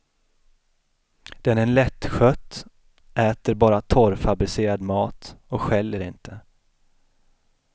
Den är lättskött, äter bara torrfabricerad mat och skäller inte.